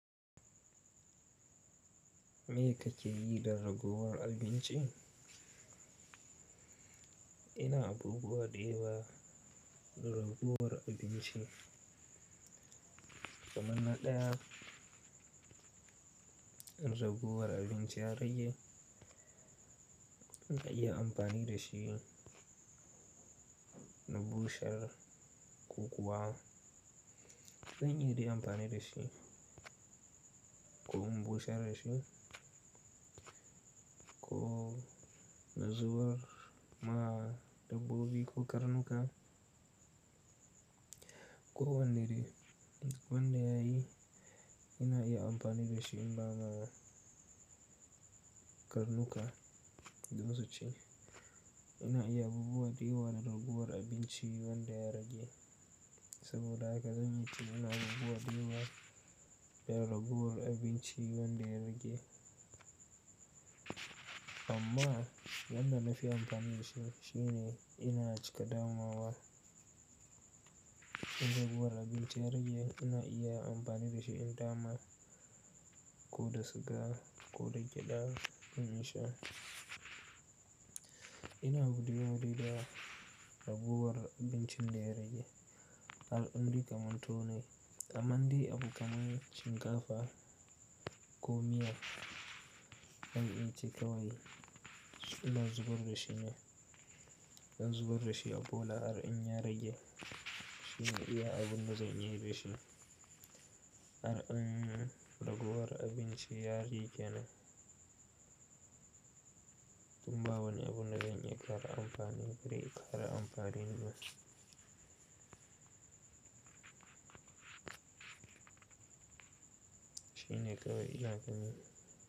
Me kake yi da ragowar abinci? Ina abubuwa dayawa da ragowar abinci. Kamanna ɗaya, in ragowar abinci yarage, ina iya amfani da shi na bushar, ko kuwa zan iyadai amfani da shi ko in bushar da shi ko na zuba ma dabbobi ko karnuka, ko wandayayi ina iya amfani da shi in ba ma karnuka, do minsu ci. Ina iya abubuwa dayawa da ragowar abinci wanda ya rage. Saboda haka zan iya cewa ina abubuwa dayawa da ragowar abinci wanda ya rage. Amma wanda na fi amfani da shi shine ina cika damawa. In ragowar abinci ya rage, ina iya amfani da shi in dama ko da suga ko da gyadar in sha. Ina buɗe wuri da ragowar abinci da ya rage. Al'amri kamanto ne, kamande abu kamar cin kafa ko miya. In ya cika wai, in na zubar da shi ne. In zubar da shi a bola, har in ya rage shine iya abun da zan yi da shi. Ar in ragowar abinci ya rikena. Tun ba wani abun da zan yi kara amfani tare amfani da masa. Shine kawai ina ganin.